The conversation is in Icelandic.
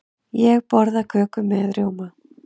Ég borða köku með rjóma.